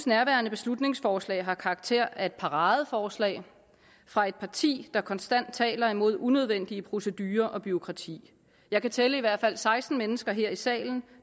nærværende beslutningsforslag har karakter af et paradeforslag fra et parti der konstant taler imod unødvendige procedurer og bureaukrati jeg kan tælle i hvert fald seksten mennesker her i salen